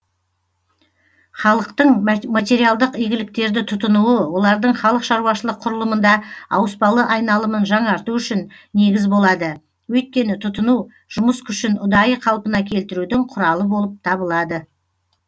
халықтың материалдық игіліктерді тұтынуы олардың халық шаруашылық құрылымында ауыспалы айналымын жаңарту үшін негіз болады өйткені тұтыну жұмыс күшін ұдайы қалпына келтірудің құралы болып табылады